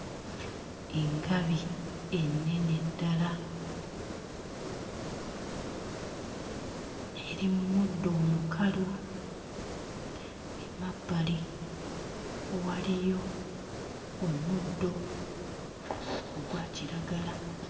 Engabi ennene ddala eri mu muddo omukalu emabbali waliyo omuddo ogwa kiragala.